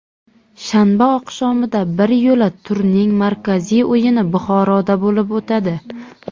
Shanba oqshomida biryo‘la turning markaziy o‘yini Buxoroda bo‘lib o‘tadi.